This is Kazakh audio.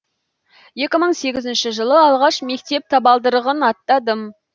екі мың сегізінші жылы алғаш мектеп табалдырығын аттадым